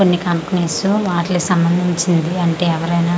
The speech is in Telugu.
కొన్ని కంపెనీస్ వాట్లి సంబందించింది అంటే ఎవరైనా--